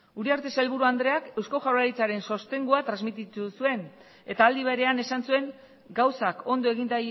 uriarte sailburu andreak eusko jaurlaritzaren sostengua transmititu zuen eta aldi berean esan zuen gauzak ondo egin